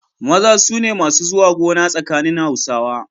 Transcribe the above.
Maza su ne masu zuwa gona tsakanin Hausawa.